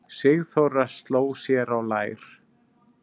Sigþóra sló sér á lær.